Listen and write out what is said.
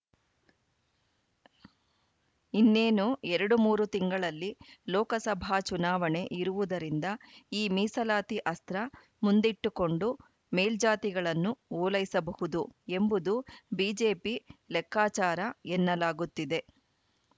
ಇನ್ನೇನು ಎರಡು ಮೂರು ತಿಂಗಳಲ್ಲಿ ಲೋಕಸಭಾ ಚುನಾವಣೆ ಇರುವುದರಿಂದ ಈ ಮೀಸಲಾತಿ ಅಸ್ತ್ರ ಮುಂದಿಟ್ಟುಕೊಂಡು ಮೇಲ್ಜಾತಿಗಳನ್ನು ಓಲೈಸಬಹುದು ಎಂಬುದು ಬಿಜೆಪಿ ಲೆಕ್ಕಾಚಾರ ಎನ್ನಲಾಗುತ್ತಿದೆ